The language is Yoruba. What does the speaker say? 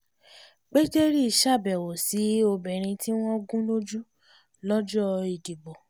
pétérì ṣàbẹ̀wò sí obìnrin tí wọ́n gún lójú lọ́jọ́ ìdìbò